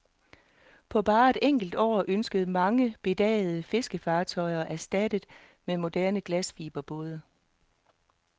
På bare et enkelt år ønskes mange bedagede fiskefartøjer erstattet med moderne glasfiberbåde.